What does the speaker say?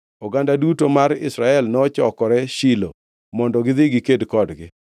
oganda duto mar Israel nochokore Shilo mondo gidhi giked kodgi.